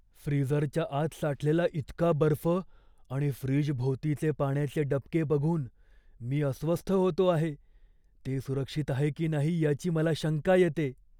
फ्रीजरच्या आत साठलेला इतका बर्फ आणि फ्रीजभोवतीचे पाण्याचे डबके बघून मी अस्वस्थ होतो आहे, ते सुरक्षित आहे की नाही याची मला शंका येते.